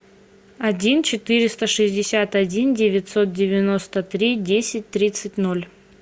один четыреста шестьдесят один девятьсот девяносто три десять тридцать ноль